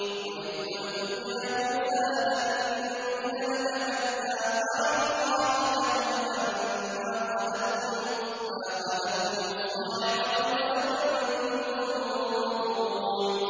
وَإِذْ قُلْتُمْ يَا مُوسَىٰ لَن نُّؤْمِنَ لَكَ حَتَّىٰ نَرَى اللَّهَ جَهْرَةً فَأَخَذَتْكُمُ الصَّاعِقَةُ وَأَنتُمْ تَنظُرُونَ